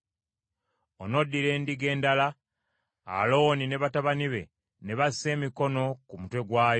“Onoddira endiga endala, Alooni ne batabani be ne bassa emikono ku mutwe gwayo;